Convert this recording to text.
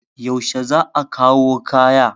yaushe za a kawo kaya?